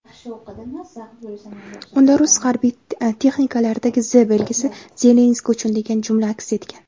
Unda rus harbiy texnikalaridagi "Z" belgisi "Zelenskiy uchun" degan jumla aks etgan.